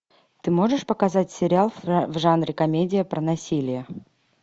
ты можешь показать сериал в жанре комедия про насилие